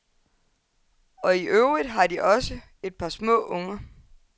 Og i øvrigt har de også et par små unger.